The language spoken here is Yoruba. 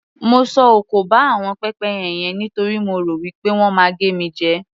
Mo sọ òkò ba àwọn pẹ́pẹ́yẹ yen nítorí mo rò wí pé wọ́n máa gé mi jẹ.